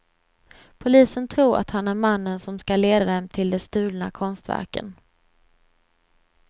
Polisen tror att han är mannen som ska leda dem till de stulna konstverken.